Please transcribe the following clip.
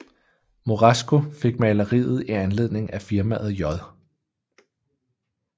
Moresco fik maleriet i anledning af firmaet J